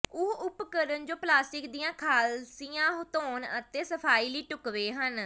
ਉਹ ਉਪਕਰਣ ਜੋ ਪਲਾਸਟਿਕ ਦੀਆਂ ਖਾਲਸੀਆਂ ਧੋਣ ਅਤੇ ਸਫ਼ਾਈ ਲਈ ਢੁਕਵੇਂ ਹਨ